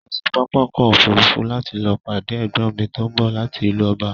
Mo lọ sí pápákọ̀ òfurufú láti lọ pàdé ẹ̀gbọ́n mi tó ń bọ̀ láti ìlú ọba